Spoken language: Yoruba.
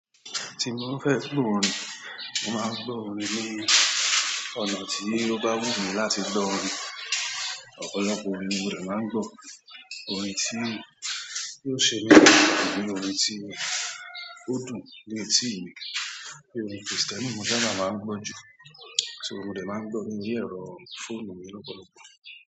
Tí mo bá fẹ́ play orin, mo máa ń gbọ́ orin ní ọ̀nà tí ó bá wù mí láti gbọ́ orin. Ọ̀pọ̀lọpọ̀ orin ni mo dẹ̀ máa ń gbọ́, orin tí yóò ṣe mí lágbára àbí orin tí ó dùn ni ètí mi. Bí orin P-Square náà mo sábà máa ń gbọ́ jù, so, mo dẹ̀ máa ń gbọ́ọ ní orí ẹ̀rọ fóònù mi lọ́pọ̀lọpọ̀.